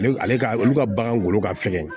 Ale ka olu ka bagan golo ka fɛgɛn